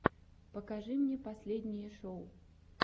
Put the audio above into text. покажи мне последние шоу